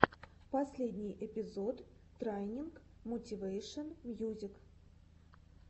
последний эпизод трайнинг мотивэйшен мьюзик